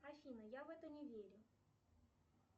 афина я в это не верю